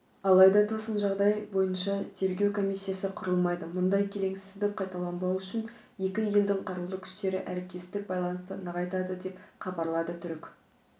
алайда тосын жағдай бойынша тергеу комиссиясы құрылмайды мұндай келеңсіздік қайталанбауы үшін екі елдің қарулы күштері әріптестік байланысты нығайтады деп хабарлады түрік